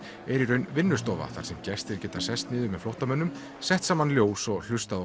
er í raun vinnustofa þar sem gestir geta sest niður með flóttamönnum sett saman ljós og hlustað á